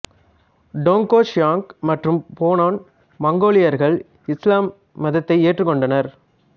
Dongxiang மற்றும் Bonan மங்கோலியர்கள் இஸ்லாம் மதத்தை ஏற்றுக் கொண்டனர்